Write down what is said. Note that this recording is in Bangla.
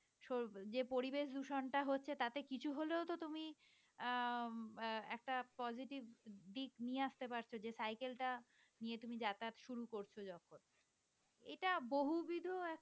যে পরিবেশ দূষণটা হচ্ছে তাতে কিছু হলেও তো তুমি আহ আহ একটা positive দিক নিয়ে আসতে পারতেছ যে cycle টা নিয়ে তুমি যাতায়াত শুরু করছ যখন এটা বহুবিধ একটা